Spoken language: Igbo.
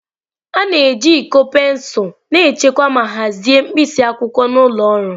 A na-eji iko pensụl na-echekwa ma hazie mkpịsị akwụkwọ n'ụlọ ọrụ.